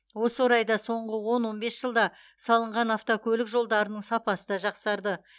осы орайда соңғы он он бес жылда салынған автокөлік жолдарының сапасы да жақсарды